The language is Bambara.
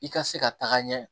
I ka se ka taga ɲɛ